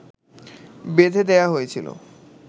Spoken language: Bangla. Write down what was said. বেঁধে দেয়া হয়েছিল